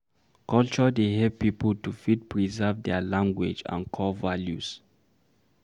Culture dey help pipo to fit preserve their language and core values